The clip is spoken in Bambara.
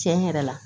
Tiɲɛ yɛrɛ la